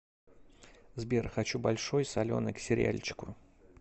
сбер хочу большой соленый к сериальчику